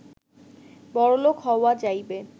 বড়লোক হওয়া যাইবে